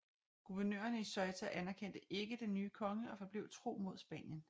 Guvernørerne i Ceuta anerkendte ikke den nye konge og forblev tro mod Spanien